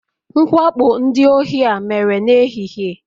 Mwakpo ndị ohi a mere n'ehihie